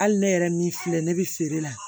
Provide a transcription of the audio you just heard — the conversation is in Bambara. Hali ne yɛrɛ min filɛ ne bɛ feere la